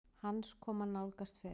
Hans koma nálgast fer